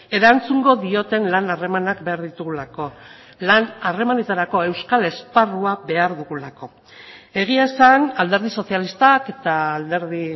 erantzungo dioten lan harremanak behar ditugulako lan harremanetarako euskal esparrua behar dugulako egia esan alderdi sozialistak eta alderdi